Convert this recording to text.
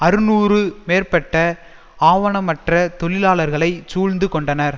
அறுநூறு மேற்பட்ட ஆவணமற்ற தொழிலாளர்களை சூழ்ந்து கொண்டனர்